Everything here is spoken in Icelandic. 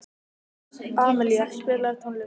Amilía, spilaðu tónlist.